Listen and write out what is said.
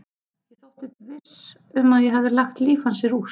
Ég þóttist viss um að ég hefði lagt líf hans í rúst.